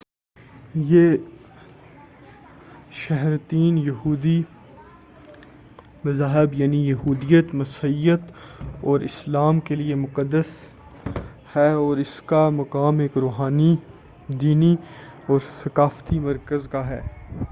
یہ شہرتین توحیدی مذاہب یعنی یہودیت مسیحیت اور اسلام کے لئےمقدس ہے اور اس کا مقام ایک روحانی دینی اور ثقافتی مرکز کا ہے